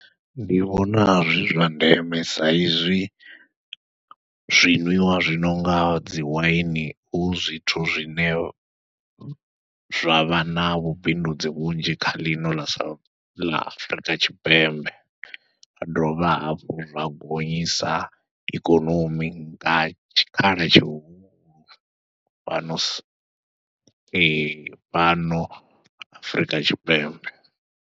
Ndi vhonaha zwi zwa ndeme sa izwi zwinwiwa zwi no nga dziwaini hu zwithu zwine zwa vha na vhubindudzi vhunzhi kha ḽino ḽa sa, ḽa Afurika Tshipembe, zwa dovha hafhu zwa gonyisa ikonomi nga tshikhala tshihulu fhano sa, , fhano Afurika Tshipembe.